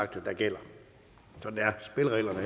der gælder sådan